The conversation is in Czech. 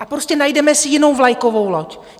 A prostě najdeme si jinou vlajkovou loď.